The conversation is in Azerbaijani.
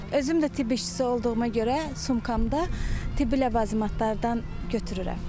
Özüm də tibb işçisi olduğuma görə sumkamda tibbi ləvazimatlardan götürürəm.